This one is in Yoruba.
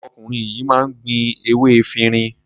Ọkùnrin yìí máa ń ní gbin ewé efirin.